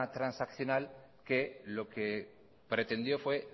transaccional que lo que pretendió fue